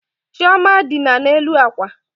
Chioma dina n'elu akwa.